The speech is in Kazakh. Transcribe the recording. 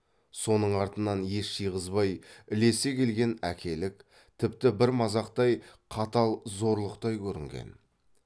соның артынан ес жиғызбай ілесе келген әкелік тіпті бір мазақтай қатал зорлықтай көрінген